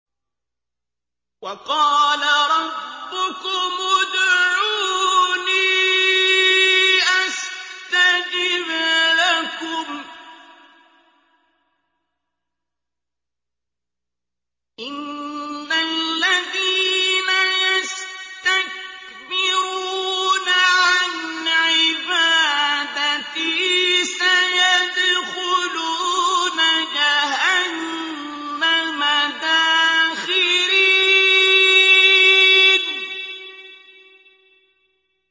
وَقَالَ رَبُّكُمُ ادْعُونِي أَسْتَجِبْ لَكُمْ ۚ إِنَّ الَّذِينَ يَسْتَكْبِرُونَ عَنْ عِبَادَتِي سَيَدْخُلُونَ جَهَنَّمَ دَاخِرِينَ